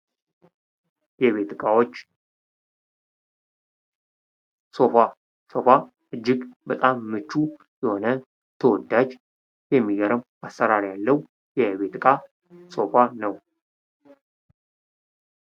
የቤት እቃዎች ሶፋ:- ሶፋ እጅግ በጣም ምቹ የሆነ ተወዳጅ የሚገርም አሰራር ያለዉ የቤት እቃ ነዉ።